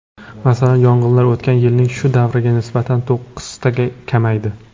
Masalan, yong‘inlar o‘tgan yilning shu davriga nisbatan to‘qqiztaga kamaydi.